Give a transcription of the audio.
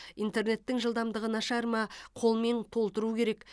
интернеттің жылдамдығы нашар ма қолмен толтыру керек